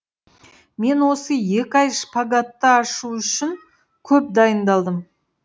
мен осы екі ай шпагатты ашу үшін көп дайындалдым